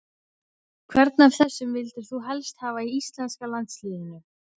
Hvern af þessum vildir þú helst hafa í íslenska landsliðinu?